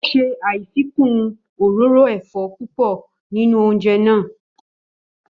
Ó ṣe àfikún òróró ẹ̀fọ́ púpọ̀ nínú oúnjẹ náà.